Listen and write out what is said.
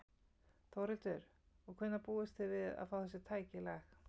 Þórhildur: Og hvenær búist þið við að fá þessi tæki í lag?